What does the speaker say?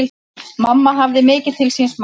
Mamma hafði mikið til síns máls.